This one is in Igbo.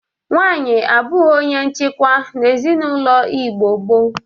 Nwaanyị abụghị onye nchikwa n'ezinaụlọ Igbo gboo.